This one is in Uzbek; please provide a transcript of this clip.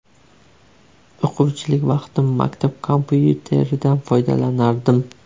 O‘quvchilik vaqtim maktab kompyuteridan foydalanardim.